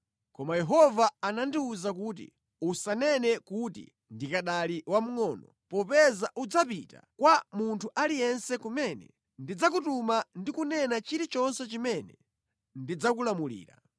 Koma Yehova anandiwuza kuti, “Usanene kuti, ‘Ndikanali wamngʼono’ popeza udzapita kwa munthu aliyense kumene ndidzakutuma ndi kunena chilichonse chimene ndidzakulamulira.